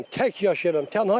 Tək yaşayıram.